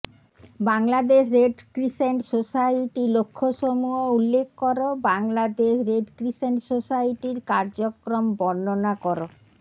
Bangladesh Red Crescent Society লক্ষ্যসমূহ উল্লেখ কর বাংলাদেশ রেড ক্রিসেন্ট সোসাইটির কার্যক্রম বর্ণনা কর